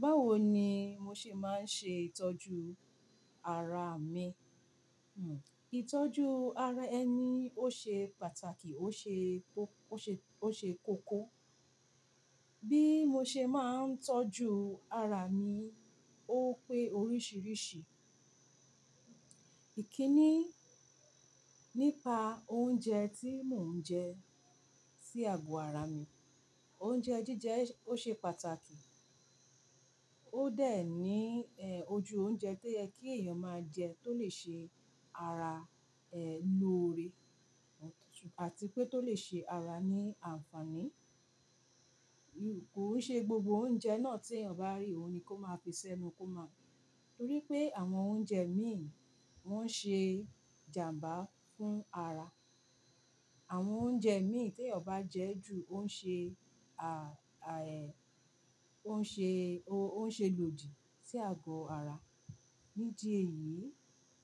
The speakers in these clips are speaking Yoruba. Báwo ni mo ṣe máa ń ṣe ìtọ́jú ara mi? Itọ́jú ara ẹni ó ṣe pàtàkì, ó ṣe, ó ṣe, ó ṣe kókó. Bí mo ṣe máa ń tọ́jú ara mi ó pé oríṣìíríṣìí. Ìkíni nípa oúnjẹ tí mò ń jẹ sí àgọ́ ara mi. Oúnjẹ jíjẹ ó ṣe pàtàkì, ó dẹ̀ ní ojú oúnjẹ to ye kí ẹ̀yàn máa jẹ tó lè ṣe ara ẹ lọ́ore àti pé tó lè ṣe ara ní àǹfààní. Kòn ṣe gbogbo oúnjẹ náà tí èèyàn bá rí òun ni kó máa fi s'ẹnu kó máa, torí pé àwọn oúnjẹ míìn won ṣe ìjàǹbá fún ara. Àwọn oúnjẹ míì tí èèyàn bá jẹ ju on ṣe, ó ń ṣe, ó ń ṣe lòdì sí àgọ́ ara. Nídi èyí,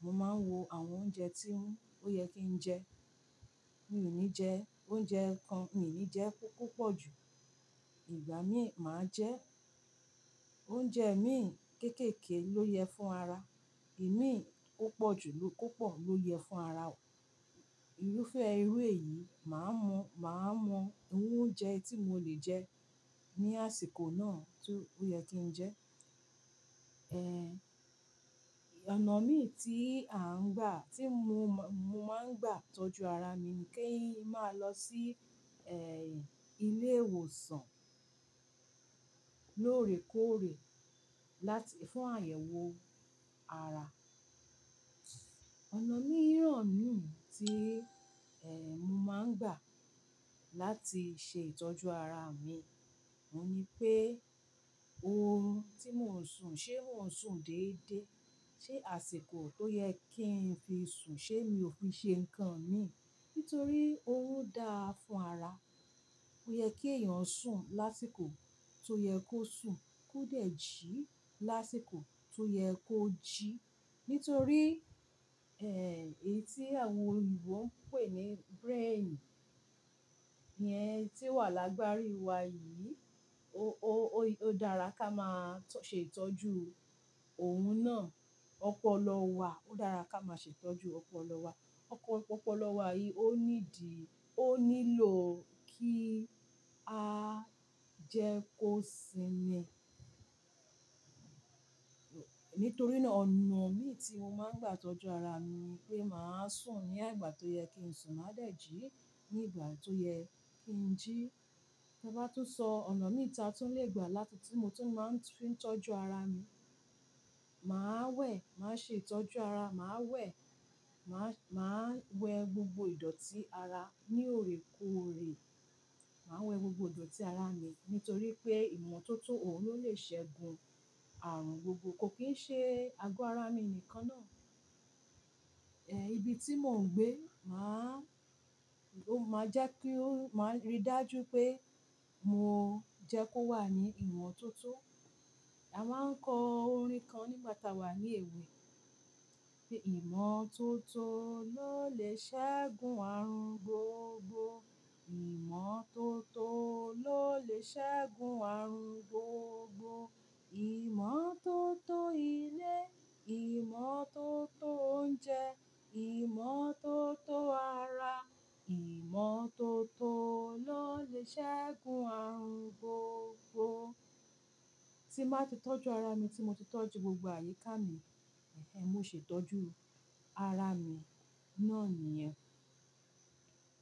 mo máa ń wo àwọn oúnjẹ tí ó yẹ kí n jẹ. Mi ò ní jẹ oúnjẹ kan, mi ò ní jẹ kó pupọ̀ ju. Ìgbà míì, màá jẹ oúnjẹ míì kéékèèké ló yẹ fún ara. Ìmíì kó pọ̀ jù ló, kó pọ̀ ló yẹ fún ara. Irúfẹ́ irú èyí, màá mọ, màá mọ iru oúnjẹ tí mo lè jẹ ní àsìkò náà tí ó yẹ kí n jẹ. Ọ̀nà míì tí à ń gbà, tí mo máa ń gbà tọ́jú ara mi ni kí ń máa lọ sí ilé ìwòsàn lóòrèkóòrè láti fún àyẹ̀wò ara Ọ̀nà míì ràn míì tí mo máa ń gbà láti ṣe ìtọ́jú ara mi ni pé orun tí mò ń sùn, ṣé mò ń sùn déédéé? Ṣé àsìkò tó yẹ kí n fi sùn ṣé mi ò fi ṣe nǹkan mi? Nítorí orun dáa fún ara. Ó yẹ kí ẹ̀yàn sùn lásìkò tó yẹ kó sùn, kó dẹ̀ jí lásìkò tó yẹ kó jí. Nítorí èyí tí àwọn òyìnbó ń pè ní brain yẹn tí ó wà lágbárí wa yìí, o, o, o dára ká máa ṣe ìtọ́jú òun náà. Ọpọlọ wa, ó dára ká máa ṣe ìtọ́jú ọpọlọ wa. Ọpọ ọpọlọ wa yìí ó nídi, ó nílò kí á jẹ kó sinmi. Nítorí náà, ọ̀nà míì tí mo máa ń gbà tọ́jú ara mi ni pé màá sùn ní igbà tó yẹ kí n sùn, màá dẹ̀ jí ní ìgbà tó yẹ kí n jí. Mo bá tún sọ ọ̀nà míì ta tún le gbà láti tí mo tún máa fi ń tọ́jú ara mi, màá wẹ̀, màá ṣe ìtọ́jú ara, màá wẹ̀, màá, màá wẹ gbogbo ìdọ̀tí ara ní òrèkóòrè. Màá wẹ gbogbo ìdọ̀tí ara mi nítorí pé ìmọ̀tótó òun ló lè ṣẹ́gun ààrùn gbogbo, kò kín ṣe àgọ́ ara mi nìkan náà. Ibi tí mò ń gbé máa, ló máa jẹ́ kí ó máa rí dájú pé mo jẹ kó wà ní ìmọ̀tótó. A máa ń kọ orin kan nígbà táa wà ní èwe pé "ìmọ̀tótó ló lè ṣẹ́gun ààrùn gbogbo, ìmọ̀tótó ló lè ṣẹ́gun ààrùn gbogbo. Ìmọ̀tótó ilé, ìmọ̀tótó oúnjẹ, ìmọ̀tótó ara, ìmọ̀tótó ló lè ṣẹ́gun ààrùn gbogbo." Tí mbá ti tọ́jú ara mi, tí mo ti tọ́jú gbogbo àyíká mi, mo ṣè tọ́jú ara mi náà nìyẹn.